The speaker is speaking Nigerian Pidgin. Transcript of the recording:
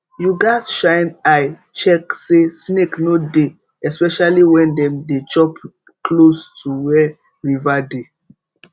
you gats shine eye check say snake no dey especially when dem dey chop close to where river dey